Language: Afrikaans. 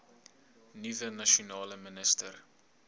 nuwe nasionale minister